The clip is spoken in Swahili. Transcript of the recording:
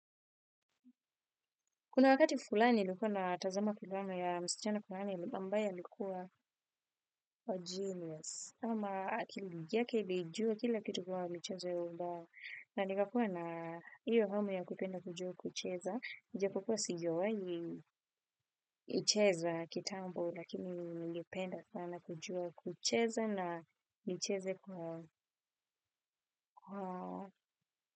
Kuna wakati fulani nilikuwa na tazama kiluano ya msichana fulani ambaye alikuwa genius. Ama akili yake ilijua kila kitu kwa mcheza ya ubao. Na nikakua na iyo hamu ya kupenda kujua kucheza. Japo kuwa sijawai icheza kitambo lakini nilipenda kuwa nakujua kucheza na nicheze kwa.